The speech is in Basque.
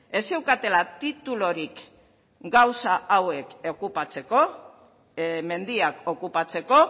ez zeukatela titulurik gauza hauek okupatzeko mendiak okupatzeko